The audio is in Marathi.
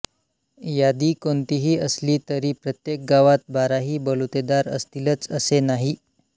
यादी कोणतीही असली तरी प्रत्येक गावात बाराही बलुतेदार असतीलच असे नाही